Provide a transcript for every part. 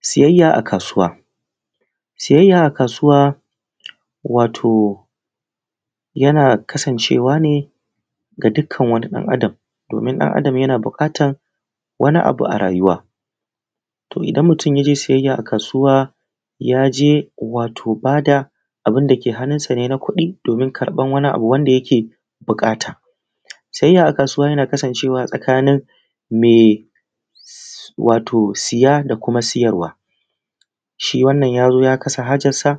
Siyayya a kasuwa, siyayya a kasuwa wato yana kasancewa ne ga dukkan wani dan Adam domin ɗan Adam yana buƙatar wani abu a rayuwar. Idan mutum ya je sayar wani abu a kasuwa ya je wati ba da abun da ke hannunsa ne na kudi domin kaɓan wani abu wanda yake buƙata. Sayayya a kasuwa yana kasancewa mai sayada kuma sayarwa shi wannan ya zo ya kasa hajarsa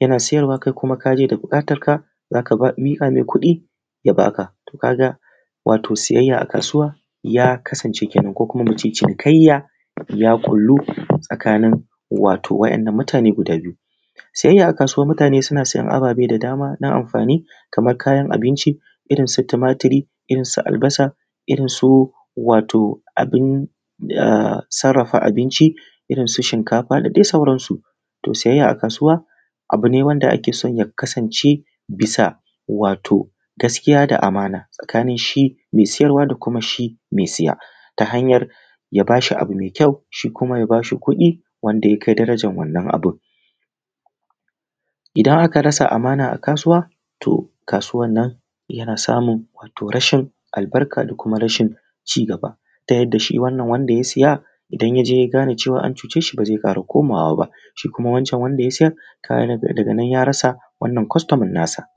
yana sayarwa kai kuma ka je da buƙatarka za ka miƙa mai kuɗi ya ba ka. Ka ga sayayya a kasuwa ya kasance kenan ko kuma mu ce cinikayya ya kasance ya kullu tsakanin wadannan mutane guda biyu. Sayayya a kasuwa mutane suna sayan ababe da dama na amfani kamar kayan abinci irn su tumaturi, irinsu albasa Irinsu wato abin da sarrafa abinci da dai sauransu. To sayayya a kasuwa abu ne wanda ake so ya kasance, bisa wato gaskiya da amana tsakanin shi mai sayarwa da shi mai saya, ya ba shi abu mai kyau shi kuma ya ba shi kuɗin wannan abun. Idan aka rasa amana a kasuwa, to kasuwar nan yana samun rashin albarka da kuma rashin ci gaba yadda shi wannan yadda ya saya odan ya je ya gane cewa an cuce shi ba zai ƙara komawa ba. Shi kuma wanda ya sayar daga nan ya rasa wannan kwastoma nasa.